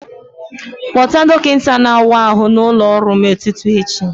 Kpọta dọkịta na-awa ahụ n'ụlọ ọrụ m n'ụtụtụ echi